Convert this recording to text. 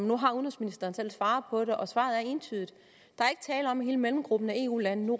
nu har udenrigsministeren selv svaret på det og svaret er entydigt der er ikke tale om at hele mellemgruppen af eu lande nu